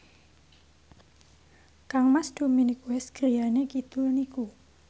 kangmas Dominic West griyane kidul niku